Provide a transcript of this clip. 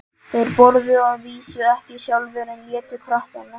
Þeir þorðu það að vísu ekki sjálfir, en létu krakkana.